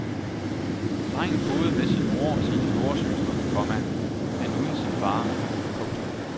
Drengen boede med sin mor og sine storesøstre, komma men uden sin far. punktum